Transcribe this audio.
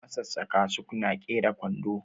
masassaka sukna kera kwando